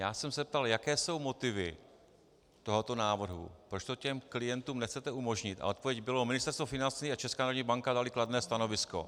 Já jsem se zeptal, jaké jsou motivy tohoto návrhu, proč to těm klientům nechcete umožnit, a odpověď byla: Ministerstvo financí a Česká národní banka daly kladné stanovisko.